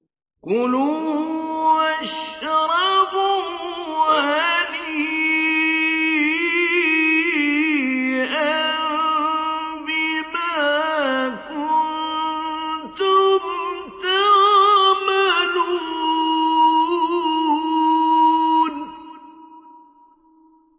كُلُوا وَاشْرَبُوا هَنِيئًا بِمَا كُنتُمْ تَعْمَلُونَ